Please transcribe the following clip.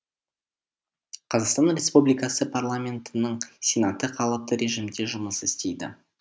қазақстан республикасы парламентінің сенаты қалыпты режимде жұмыс істейді